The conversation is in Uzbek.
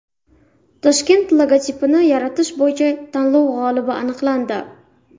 Toshkent logotipini yaratish bo‘yicha tanlov g‘olibi aniqlandi .